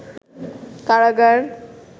কারাগার